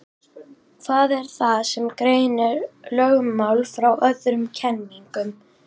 Hvað er það sem greinir lögmál frá öðrum kenningum?